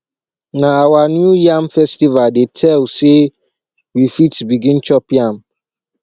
na our new yam festival dey tell sey we fit begin chop yam